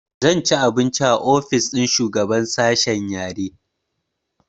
Zan ci abinci a ofis ɗin shugaban sashe yare